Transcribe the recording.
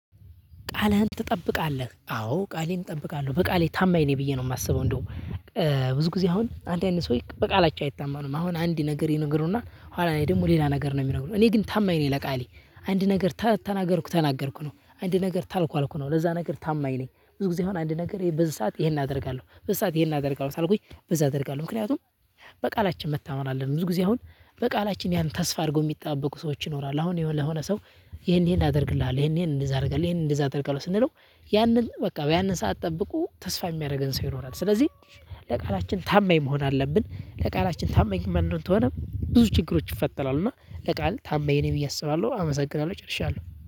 ቃልህን ትጠብቃለህ አዎ ቃሌን እጠብቃለሁ በቃሌ ታማኝ ነኝ ብዬ ነው የማስበው። እንደው ብዙ ጊዜ አሁን አንዳንድ ሰው በቃላቸው አይታማንም አሁን አንድ ነገር ይነግሩና ኋላ እኔ ደግሞ ሌላ ነገር ነው የሚነግሩን። እኔ ግን ታማኝ ነኝ ለቃሌ አንድ ነገር ተናገርኩ ተናገርኩ ነው አንድ ነገር ታልኩ አልኩ ነው ለዛ ነገር ታማኝ ነኝ። ብዙ ጊዜ አሁን አንድ ነገር በዚህ ሰዓት ይሄን አደርጋለሁ በዚህ ሰዓት ይሄን አደርጋለሁ። ሳልኩኝ በዛ አደርጋለሁ ምክንያቱም በቃላችን መታመን አለን። ብዙ ጊዜ አሁን በቃላችን ያን ተስፋ አድርጎ የሚጠበቁ ሰዎች ይኖራሉ። አሁን የሆነ ለሆነ ሰው ይሄን ይሄን አደርግልሃለሁ ይሄን ይሄን እንደዛ አደርግልሃለሁ ይሄን እንደዛ አደርግልሃለሁ ስንለው ያንን በቃ ያንን ሰዓት ጠብቆ ተስፋ የሚያደርገን ሰው ይኖራል። ስለዚህ ለቃላችን ታማኝ መሆን አለብን። ለቃላችን ታማኝ ማንሆን ከሆነ ብዙ ችግሮች ይፈጠራሉ። እና ለቃል ታማኝ ነኝ ብዬ አስባለሁ አመሰግናለሁ ጨርሻለሁ